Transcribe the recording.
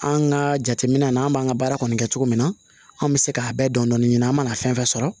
An ka jateminɛ na an b'an ka baara kɔni kɛ cogo min na an bɛ se ka bɛɛ dɔn dɔn ɲini an mana fɛn fɛn sɔrɔ